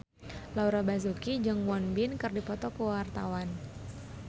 Laura Basuki jeung Won Bin keur dipoto ku wartawan